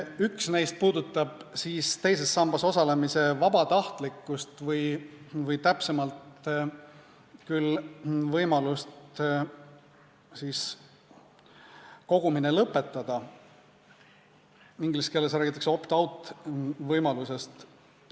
Üks neist puudutab teises sambas osalemise vabatahtlikkust või täpsemalt küll võimalust kogumine lõpetada, inglise keeles räägitakse opt-out-võimalusest.